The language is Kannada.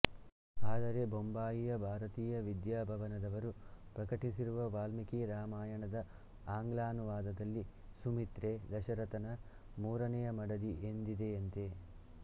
ಆದರೆ ಬೊಂಬಾಯಿಯ ಭಾರತೀಯ ವಿದ್ಯಾಭವನದವರು ಪ್ರಕಟಿಸಿರುವ ವಾಲ್ಮೀಕಿ ರಾಮಾಯಣ ದ ಆಂಗ್ಲಾನುವಾದದಲ್ಲಿ ಸುಮಿತ್ರೆ ದಶರಥನ ಮೂರನೆಯ ಮಡದಿ ಎಂದಿದೆಯಂತೆ